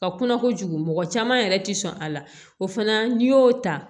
Ka kunna kojugu mɔgɔ caman yɛrɛ ti sɔn a la o fana n'i y'o ta